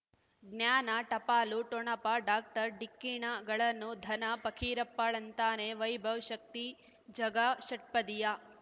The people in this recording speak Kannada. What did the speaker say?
ಜ್ಞಾನ ಟಪಾಲು ಠೊಣಪ ಡಾಕ್ಟರ್ ಢಿಕ್ಕಿ ಣಗಳನು ಧನ ಫಕೀರಪ್ಪ ಳಂತಾನೆ ವೈಭವ್ ಶಕ್ತಿ ಝಗಾ ಷಟ್ಪದಿಯ